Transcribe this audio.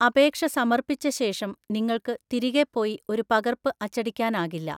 അപേക്ഷ സമർപ്പിച്ച ശേഷം, നിങ്ങൾക്ക് തിരികെ പോയി ഒരു പകർപ്പ് അച്ചടിക്കാനാകില്ല.